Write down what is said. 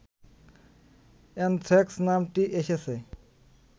anthrax নামটি এসেছে